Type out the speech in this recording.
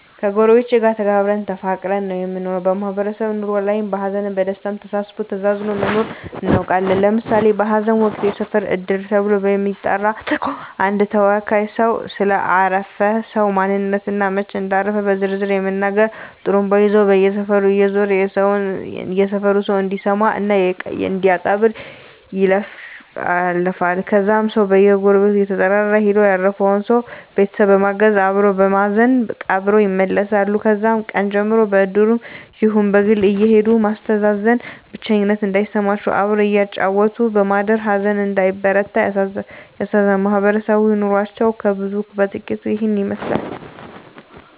ከጎረቤቶቻችን ጋር ተከባብረን እና ተፋቅረን ነው የምንኖረው ማህበራዊ ኑሮ ላይም በሀዘንም በደስታም ተሳስቦ ተዛዝኖ መኖርን እናውቅበታለን ለምሳሌ በሀዘን ወቅት የሰፈር እድር ተብሎ በሚጠራ ተቋም አንድ ተወካይ ሰው ስለ አረፈ ሰው ማንነት እና መች እንዳረፉ በዝርዝር በመናገር ጡሩምባ ይዞ በየሰፈሩ እየዞረ የሰፈሩ ሰው እንዲሰማ እና እንዲቀብር ይለፍፋል ከዛም ሰው በየጎረቤቱ እየተጠራራ ሄደው ያረፈውን ሰው ቤተሰብ በማገዝ አበሮ በማዘን ቀብረው ይመለሳሉ ከዛም ቀን ጀምሮ በእድሩም ይሁን በግል አየሄዱ ማስተዛዘን ብቸኝነት እንዳይሰማም አብሮ እያጫወቱ በማደር ሀዘን እንዳይበረታ ያስተዛዝናሉ ማህበረሰባዊ ኑሮችን ከብዙ በጥቂቱ ይህን ይመስላል